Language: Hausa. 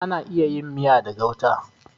Ana iya yin miya da gauta.